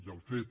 i el fet